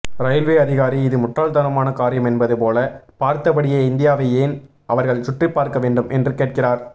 railway அதிகாரி இது முட்டாள்தனமான காரியம் என்பது போல பார்த்தபடியே இந்தியாவை ஏன் அவர்கள் சுற்றிப்பார்க்க வேண்டும் என்று கேட்கிறார்